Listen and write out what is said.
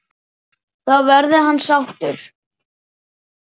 Þá verði hann sáttur.